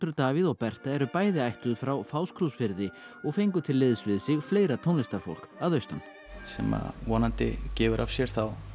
Davíð og Berta eru bæ ði ættuð frá Fáskrúðsfirði og fengu til liðs við sig fleira tónlistarfólk að austan sem vonandi gefur af sér